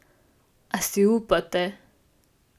A si upate?